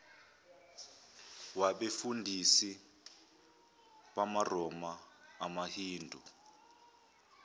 wabefundisi bamaroma amahindu